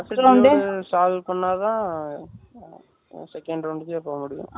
aptitude Solve பண்ணா. தான் Second round க்கே போக முடியும்.